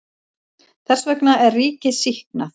Þess vegna er ríkið sýknað.